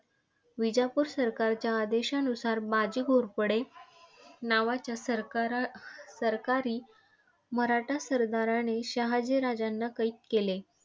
विजापूर सरकारच्या आदेशानुसार बाजी घोरपडे नावाच्या सरकारासरकारी मराठा सरदाराने शहाजी राजांना कैद केले.